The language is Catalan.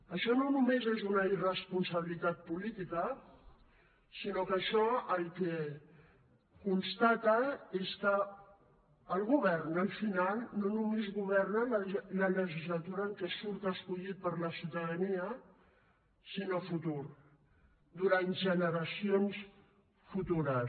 això no només és una irresponsabilitat política sinó que això el que constata és que el govern al final no només governa la legislatura en què surt escollit per la ciutadania sinó a futur durant generacions futures